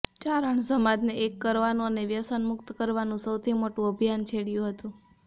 ચારણ સમાજને એક કરવાનું અને વ્યસનમુક્ત કરવાનું સૌથી મોટું અભિયાન છેડ્યું હતું